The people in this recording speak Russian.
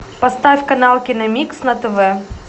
поставь канал киномикс на тв